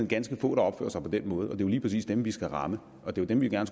ganske få der opfører sig på den måde og det lige præcis dem vi skal ramme og det er dem vi gerne